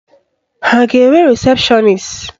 Ha ga-enwe rịsepshọnis?